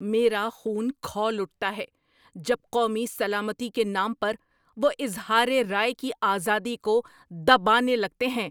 میرا خون کھول اٹھتا ہے جب قومی سلامتی کے نام پر وہ اظہار رائے کی آزادی کو دبانے لگتے ہیں۔